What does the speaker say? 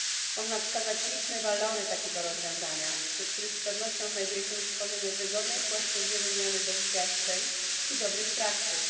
Można wskazać liczne walory takiego rozwiązania, wśród których z pewnością znajduje się stworzenie wygodnej płaszczyzny wymiany doświadczeń i dobrych praktyk.